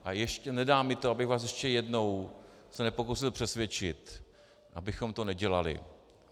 A nedá mi to, abych vás ještě jednou se nepokusil přesvědčit, abychom to nedělali.